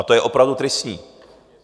A to je opravdu tristní.